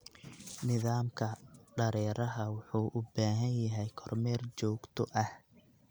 Nidaamka dareeraha wuxuu u baahan yahay kormeer joogto ah.